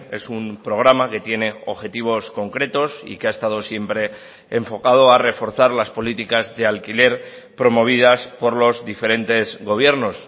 es un programa que tiene objetivos concretos y que ha estado siempre enfocado a reforzar las políticas de alquiler promovidas por los diferentes gobiernos